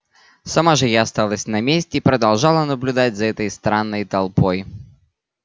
сама же я осталась на месте и продолжала наблюдать за этой странной толпой